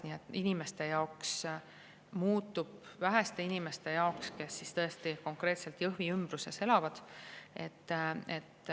Nii et inimeste jaoks muutub see vähe, ja muutub väheste inimeste jaoks, kes tõesti konkreetselt Jõhvi kandis elavad.